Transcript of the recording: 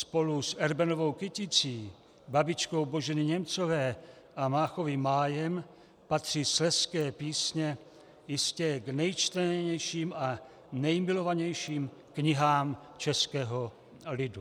Spolu s Erbenovou Kyticí, Babičkou Boženy Němcové a Máchovým Májem patří Slezské písně jistě k nejčtenějším a nemilovanějším knihám českého lidu.